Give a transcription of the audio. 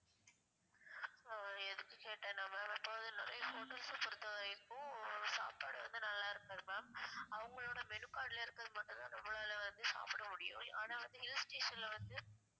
ஆஹ் எதுக்கு கேட்டனா ma'am இப்போ வந்து நெறையா hotels அ பொறுத்த வரைக்கும் இப்போ சாப்பாடு வந்து நல்லா இருக்காது ma'am அவங்களோட menu card ல இருக்கிறது மட்டும் தான் நம்மளால வந்து சாப்ட முடியும் ஆனா வந்து hill station ல வந்து